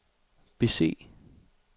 bese